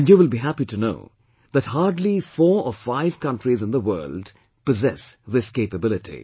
And you will be happy to know that hardly four or five countries in the world possess this capability